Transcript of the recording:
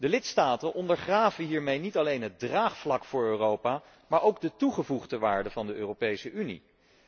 De lidstaten ondergraven hiermee niet alleen het draagvlak voor Europa, maar ook de toegevoegde waarde van de Europese Unie.